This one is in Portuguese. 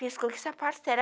Penso que sapato será?